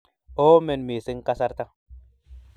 oomen mising kasarta